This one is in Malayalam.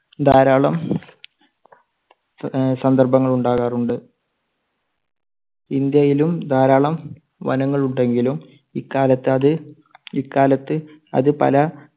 ധാരാളം ആഹ് സന്ദർഭങ്ങൾ ഉണ്ടാകാറുണ്ട്. ഇന്ത്യയിലും ധാരാളം വനങ്ങൾ ഉണ്ടെങ്കിലും ഇക്കാലത്ത് അത് ഇക്കാലത്ത് അത് പല